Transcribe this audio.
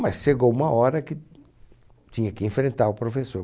Mas chegou uma hora que tinha que enfrentar o professor.